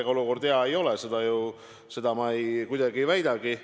Ega olukord hea ei ole, seda ma kuidagi ei väidagi.